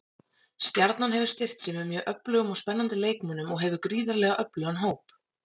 Stjarnan hefur styrkt sig með mjög öflugum og spennandi leikmönnum og hefur gríðarlega öflugan hóp.